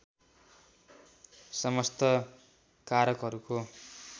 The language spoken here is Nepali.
समस्त कारकहरूको